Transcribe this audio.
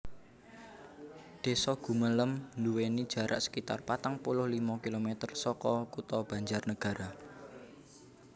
Désa Gumelem nduwèni jarak sekitar patang puluh limo kilomèter saka Kutha Banjarnagara